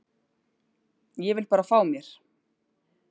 Ég vil bara fá mér.